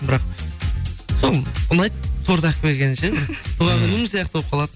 бірақ сол ұнайды торт алып келгені ше туған күнім сияқты болып қалады